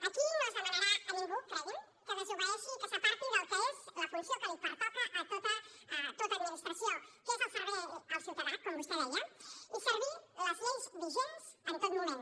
aquí no es demanarà a ningú cregui’m que desobeeixi i que s’aparti del que és la funció que li pertoca a tota administració que és el servei al ciutadà com vostè deia i servir les lleis vigents en tot moment